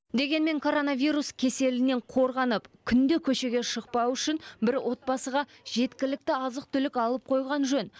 дегенмен коронавирус кеселінен қорғанып күнде көшеге шықпау үшін бір отбасыға жеткілікті азық түлік алып қойған жөн